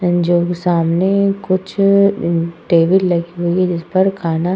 सामने कुछ टेबल लगी हुई है जिसपर खाना --